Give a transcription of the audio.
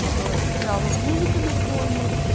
типа играла музыка на фоне